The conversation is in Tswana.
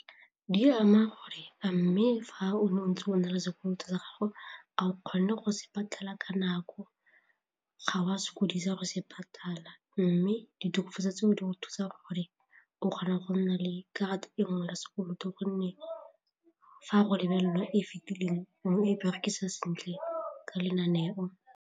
Di ama gore a mme fa o ne o ntse o na le sekoloto sa gago a o kgone go se patala ka nako, ga o a sokodisa go se patala mme ditokofatso tseo di go thusa gore o kgona go nna le karata e nngwe ya sekoloto gonne fa go lebelelwa e fetileng o ne o e berekisa sentle ka lenaneo.